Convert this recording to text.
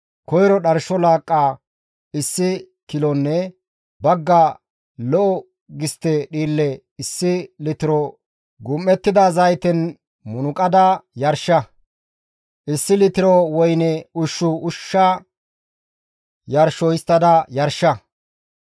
Koyro dharsho laaqqa issi kilonne bagga lo7o gistte dhiille issi litiro gum7ettida zayten munuqada yarsha; issi litiro woyne ushshu ushsha yarsho histtada yarsha.